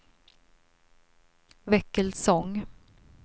Väckelsång